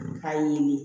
K'a ɲini